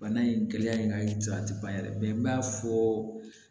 Bana in gɛlɛya in ka ca a tɛ ban yɛrɛ n b'a fɔ